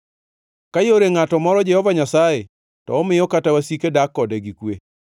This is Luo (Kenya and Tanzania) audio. Ka yore ngʼato moro Jehova Nyasaye, to omiyo kata wasike dak kode gi kwe.